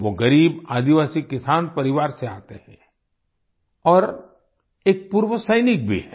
वो गरीब आदिवासी किसान परिवार से आते हैं और एक पूर्व सैनिक भी हैं